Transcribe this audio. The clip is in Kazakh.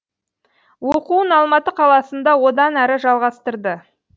оқуын алматы қаласында одан әрі жалғастырды